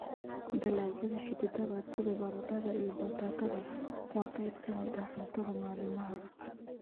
Dalagyada xididada sida baradhada iyo batatada waa qayb ka mid ah cuntada maalinlaha ah.